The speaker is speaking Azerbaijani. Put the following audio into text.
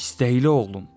İstəkli oğlum!